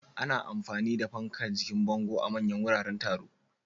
Ana amfani da fankar jikin bango a manyan wuraren taro.